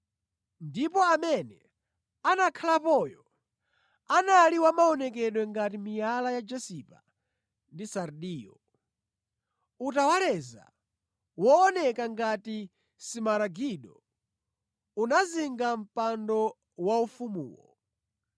Ndipo amene anakhalapoyo anali wa maonekedwe ngati miyala ya jasipa ndi sardiyo. Utawaleza wooneka ngati simaragido unazinga mpando waufumuwo.